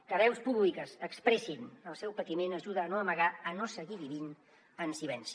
que veus públiques expressin el seu patiment ajuda a no amagar a no seguir vivint en silenci